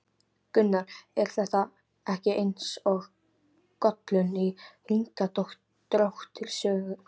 Gunnar: Er þetta ekki eins og Gollum í Hringadróttinssögu?